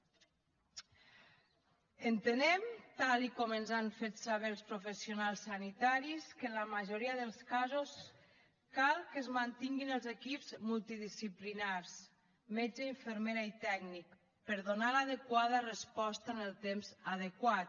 entenem tal com ens han fet saber els professionals sanitaris que en la majoria dels casos cal que es mantinguin els equips multidisciplinaris metge infermera i tècnic per a donar l’adequada resposta en el temps adequat